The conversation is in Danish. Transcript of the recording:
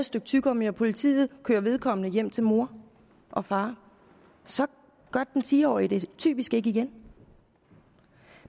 stykke tyggegummi og politiet kører vedkommende hjem til mor og far så gør den ti årige det typisk ikke igen